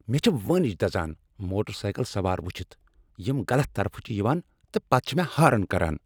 مےٚ چھ وٲنج دزان موٹر سایکل سوار وُچھِتھ یم غلط طرفہٕ چھ یوان تہٕ پتہٕ چھ مےٚ ہارن کران۔